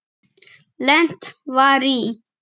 Lent var í